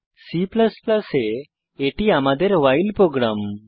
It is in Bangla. C এ এটি আমাদের ভাইল প্রোগ্রাম